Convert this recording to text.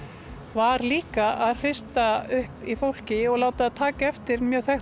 var líka að hrista upp í fólki og láta það taka eftir mjög þekktu